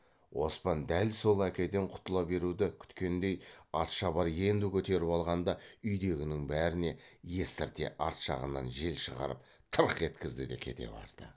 оспан дәл сол әкеден құтыла беруді күткендей атшабар енді көтеріп алғанда үйдегінің бәріне естірте арт жағынан жел шығарып тырқ еткізді де кете барды